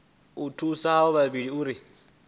u thusa avho vhavhili uri